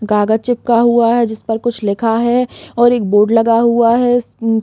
कागज चिपका हुआ हैं जिसमें कुछ लिखा है और एक बोर्ड लगा हुआ है उम्म--